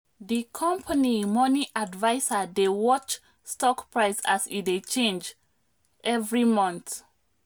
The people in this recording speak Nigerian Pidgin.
di company money adviser dey watch stock price as e dey change every month.